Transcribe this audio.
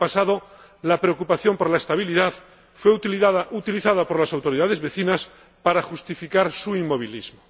En el pasado, la preocupación por la estabilidad fue utilizada por las autoridades vecinas para justificar su inmovilismo.